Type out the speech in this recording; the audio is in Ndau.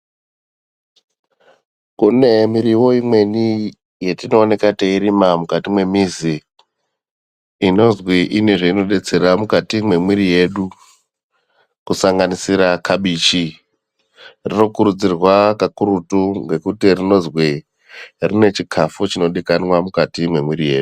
Kune muriwo imweni yatinowanika teyirima mukati mwemizi inonzi ine zvainobetsera mukati mwemuwiri wedu kusanganisira kabichi rokurudzirwa kakurutu kenguti rinozwi rine chikafu chodikanwa mukati mwemuwiri yedu.